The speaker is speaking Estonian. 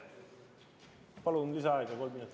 Palun lisaaega kolm minutit.